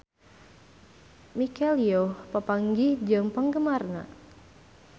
Michelle Yeoh papanggih jeung penggemarna